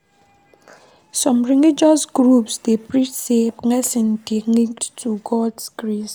Some religious groups dey preach sey blessing dey linked to Gods grace